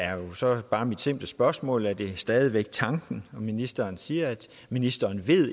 er jo så bare mit simple spørgsmål er det stadig væk tanken og ministeren siger at ministeren